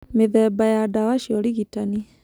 Mĩthemba ya ndawa cia ũrigitani.